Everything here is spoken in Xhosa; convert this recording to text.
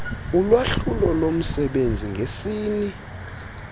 ulwahlulo lomsebenzi ngesini